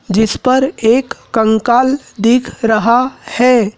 जिस पर एक कंकाल दिख रहा है।